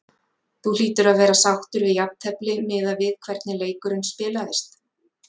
Þú hlýtur að vera sáttur við jafntefli miðað við hvernig leikurinn spilaðist?